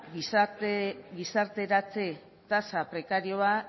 gizarteratze tasa prekarioa